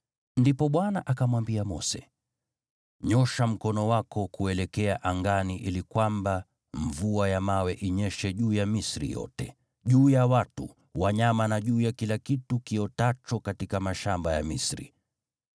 Ndipo Bwana akamwambia Mose, “Nyoosha mkono wako kuelekea angani ili kwamba mvua ya mawe inyeshe juu ya Misri yote, juu ya watu, wanyama na juu ya kila kitu kiotacho katika mashamba ya Misri.”